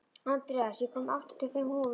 Andreas, ég kom með áttatíu og fimm húfur!